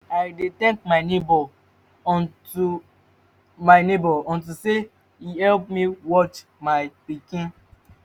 i dey thank my neighbour unto my neighbour unto say e help me watch my pikin